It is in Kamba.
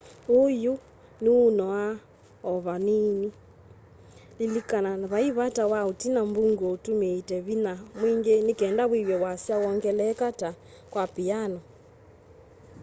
uu yu nûûnoa o vanini. lilikana vai vata wa utina mbunguo utumiite vinya mwingi nikenda wîw'e wasya wongeleka ta kwa piano